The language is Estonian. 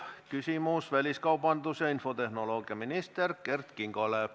Küsimus väliskaubandus- ja infotehnoloogiaminister Kert Kingole.